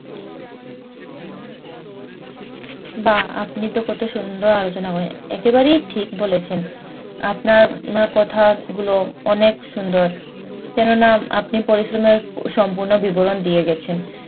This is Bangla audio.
বাহ! আপনি তো কত সুন্দর আলোচনা করলেন। একেবারেই ঠিক বলেছেন। আপনার কথাগুলো অনেক সুন্দর। কেননা আপনি পরিশ্রমের সম্পূর্ণ বিবরণ দিয়ে গেছেন।